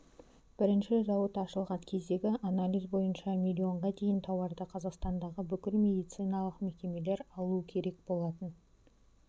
бірінші зауыт ашылған кездегң анализ бойынша миллионға дейін тауарды қазақстандағы бүкіл медициналық мекемелер алу керек болатын